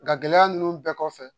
Nka gɛlɛya ninnu bɛɛ kɔfɛ